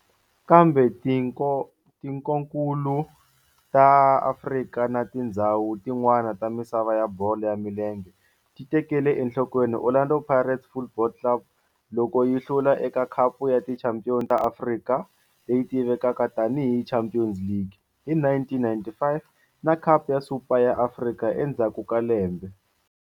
Kambe tikonkulu ra Afrika na tindzhawu tin'wana ta misava ya bolo ya milenge ti tekele enhlokweni Orlando Pirates Football Club loko yi hlula eka Khapu ya Tichampion ta Afrika, leyi tivekaka tani hi Champions League, hi 1995 na Khapu ya Super ya Afrika endzhaku ka lembe.